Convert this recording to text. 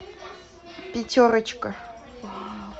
пятерочка